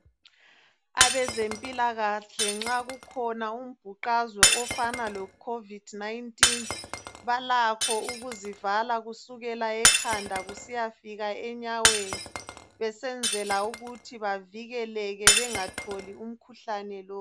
Abezempilakahle nxa kukhona umbuqazwe ofana loCovid-19 balakho ukuzivala kusukela ekhanda kusiyafika enyaweni besenzela ukuthi bavikeleke bengatholi umkhuhlane lo